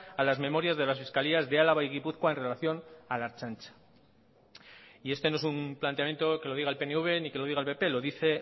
a las memorias de las fiscalías de álava y gipuzkoa en relación a la ertzaintza y este no es un planteamiento que lo diga el pnv ni que lo diga el pp lo dice